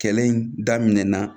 Kɛlɛ in daminɛna